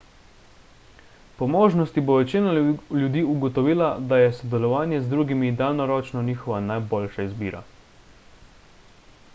po možnosti bo večina ljudi ugotovila da je sodelovanje z drugimi daljnoročno njihova najboljša izbira